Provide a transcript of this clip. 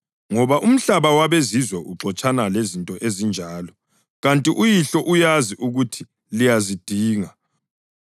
Ngoba umhlaba wabezizwe uxotshana lezinto ezinjalo, ikanti uYihlo uyazi ukuthi liyazidinga.